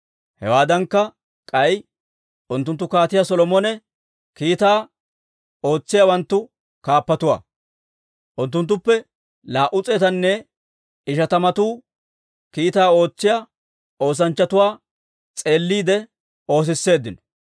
Hewaadankka, k'ay unttunttu Kaatiyaa Solomone kiitaa ootsiyaawanttu kaappatuwaa. Unttunttuppe laa"u s'eetanne ishatamatu kiitaa ootsiyaa oosanchchatuwaa s'eelliide oosisseeddino.